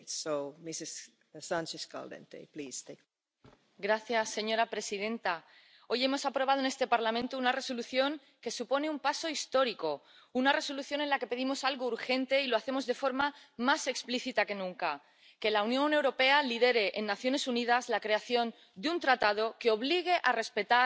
Señora presidenta, hoy hemos aprobado en este Parlamento una Resolución que supone un paso histórico, una Resolución en la que pedimos algo urgente, y lo hacemos de forma más explícita que nunca que la Unión Europea lidere en las Naciones Unidas la creación de un tratado que obligue a respetar los derechos humanos a las empresas, concretamente a las trasnacionales.